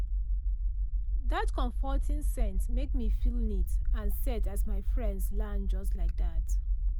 that comforting scent make me feel neat and set as my friends land just like that.